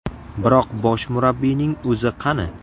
Biroq bosh murabbiyning o‘zi qani?